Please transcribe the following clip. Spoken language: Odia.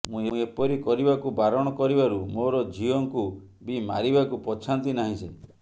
ମୁଁ ଏପରି କରିବାକୁ ବାରଣ କରିବାରୁ ମୋର ଝିଅଙ୍କୁ ବି ମାରିବାକୁ ପଛାନ୍ତି ନାହିଁ ସେ